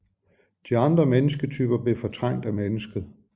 De andre mennesketyper blev fortrængt af mennesket